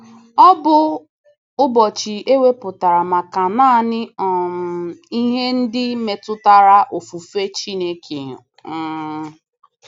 Ọ bụ ụbọchị e wepụtara maka naanị um ihe ndị metụtara ofufe Chineke. um